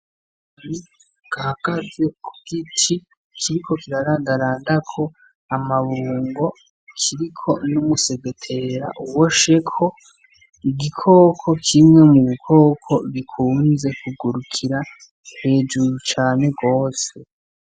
Akanyoni gahagaze ku giti kiriko kirarandarandako amabungo ,kiriko n’umusegetera ubosheko , igikoko kimwe mu bikoko bikunze kugurukira hejuru cane gose .